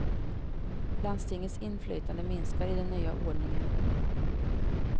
Landstingens inflytande minskar i den nya ordningen.